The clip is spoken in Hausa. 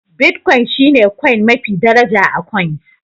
Bitcoin shine coin mafi daraja a coins